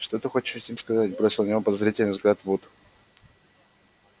что ты хочешь этим сказать бросил на него подозрительный взгляд вуд